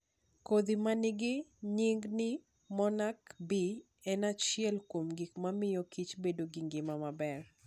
Kodhi ma nigi nying ni monarch bee en achiel kuom gik mamiyo kich bedo gi ngima maber.